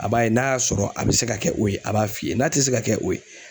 A b'a ye n'a y'a sɔrɔ a be se ka kɛ o ye a b'a f'i ye n'a te se ka kɛ o ye